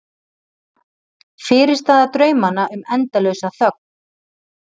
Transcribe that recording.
Fyrirstaða draumanna um endalausa þögn.